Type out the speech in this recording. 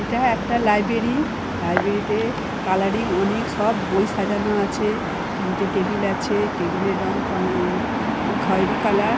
এটা একটা library. Library তে কালারিং অনেক সব বই সাজানো আছে। তিনটে টেবিল আছে। টেবিল এর রং ক্ষয় খয়েরি কালার ।